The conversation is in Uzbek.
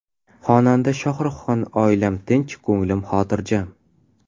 Xonanda Shohruxxon: Oilam tinch, ko‘nglim xotirjam.